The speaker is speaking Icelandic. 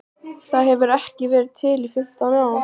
Það hefur ekki verið til í fimmtán ár!